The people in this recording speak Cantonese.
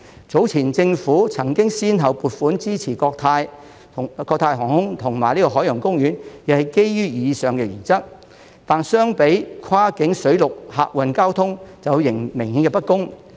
早前政府曾經先後撥款支持國泰航空和香港海洋公園，也是基於以上原則，但相比跨境水陸客運交通則有明顯的不公。